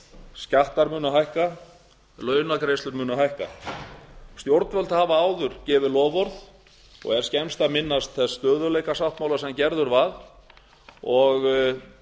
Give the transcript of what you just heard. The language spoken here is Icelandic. skattar munu hækka launagreiðslur munu hækka stjórnvöld hafa áður gefið loforð og er skemmst að minnast þess stöðugleikasáttmála sem gerður var og